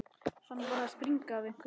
Hann var að springa af einhverju.